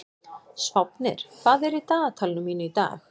Sváfnir, hvað er í dagatalinu mínu í dag?